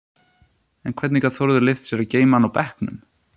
En hvernig gat Þórður leyft sér að geyma hann á bekknum?